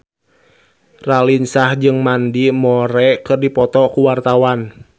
Raline Shah jeung Mandy Moore keur dipoto ku wartawan